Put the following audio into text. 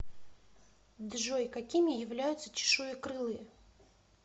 джой какими являются чешуекрылые